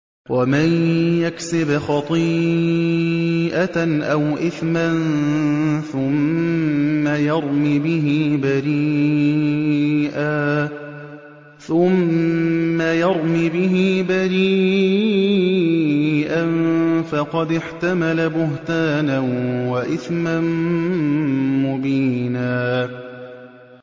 وَمَن يَكْسِبْ خَطِيئَةً أَوْ إِثْمًا ثُمَّ يَرْمِ بِهِ بَرِيئًا فَقَدِ احْتَمَلَ بُهْتَانًا وَإِثْمًا مُّبِينًا